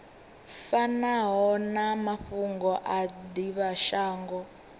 fanaho na mafhungo a divhashango